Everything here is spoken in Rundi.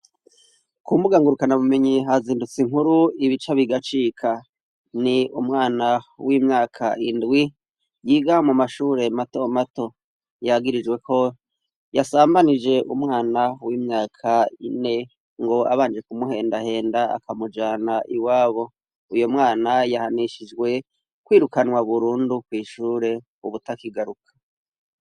Ku mbuga ngurukanabumenyi hazindutse inkuru ibica bigacika. Ni umwana w'imyaka indwi yiga mu mashure mato mato yagirijwe ko yasambanije umwana w'imyaka ine ngo abanje kumuhendahenda akamujana iwabo. Uyo mwana yahanishijwe kwirukanwa burundu kw'ishure ubutakigaruka.